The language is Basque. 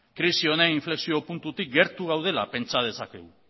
krisi honen inflexio puntutik gertu gaudela pentsa dezakegu